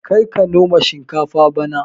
karka noma shikafa bana